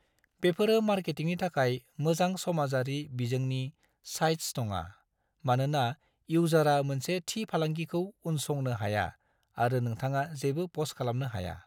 बेफोरो मार्केटिंनि थाखाय मोजां समाजारि बिजोंनि साइट्स नङा, मानोना इउजारा मोनसे थि फालांगिखौ उनसंनो हाया आरो नोंथाङा जेबो प'स्ट खालामनो हाया।